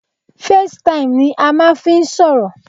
Facetime ni a máà ń fí n sọ̀rọ̀.